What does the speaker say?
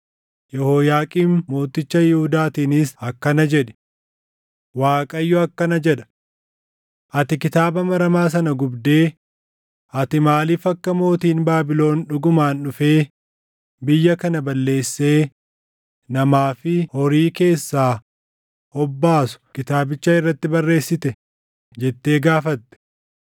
Yehooyaaqiim mooticha Yihuudaatiinis akkana jedhi; ‘ Waaqayyo akkana jedha: Ati kitaaba maramaa sana gubdee, “Ati maaliif akka mootiin Baabilon dhugumaan dhufee biyya kana balleessee namaa fi horii keessaa hobbaasu kitaabicha irratti barreessite?” jettee gaafatte.